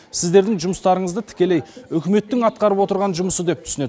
сіздердің жұмыстарыңызды тікелей үкіметтің атқарып отырған жұмысы деп түсінеді